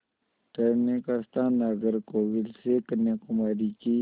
ठहरने का स्थान नागरकोविल से कन्याकुमारी की